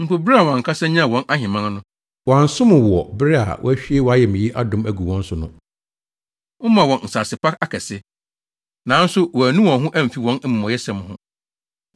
Mpo, bere a wɔn ankasa nyaa wɔn ahemman no, wɔansom wo wɔ bere a woahwie wʼayamye adom agu wɔn so no. Womaa wɔn nsase pa akɛse, nanso wɔannu wɔn ho amfi wɔn amumɔyɛsɛm ho.